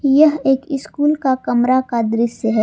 यह एक इस स्कूल का कमरा का दृश्य है।